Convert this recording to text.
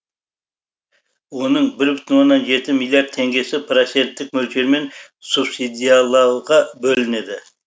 оның бір бүтін оннан жеті миллиард теңгесі проценттік мөлшермен субсидиялауға бөлінеді